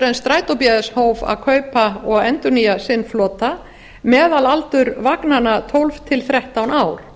en strætó bs hóf að kaupa og endurnýja sinn flota meðalaldur vagnanna tólf til þrettán ár